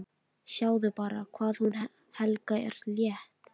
Sjáðu bara hvað hún Helga er létt!